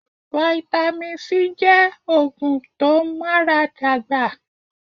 Vitamin C jẹ́ oògùn tó n ara dàgbà